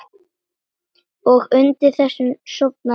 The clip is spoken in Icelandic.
Og undir þessu sofnar enginn.